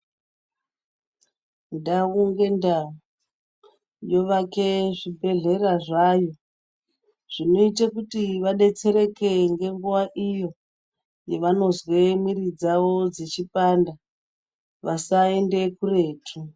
Ndau mgendau yovake zvibhedhleya zvayo zvinoita kuti vadetsereke nguwa yevanozwe mwiri yavo yechipanda kuti vasaende kuretu